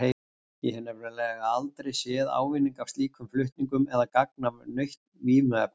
Ég hef nefnilega aldrei séð ávinning af slíkum flutningum eða gagn af nautn vímuefna.